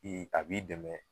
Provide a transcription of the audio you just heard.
i a b'i dɛmɛ.